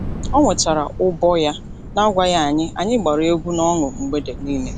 O wetara ụbọ ya nagwaghị anyị, anyị gbara egwu nọṅụ mgbede niile.